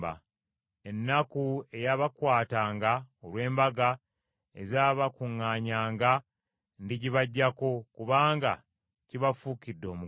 “Ennaku eyabakwatanga olw’embaga ezabakuŋŋaanyanga ndigibaggyako; kubanga kibafuukidde omugugu.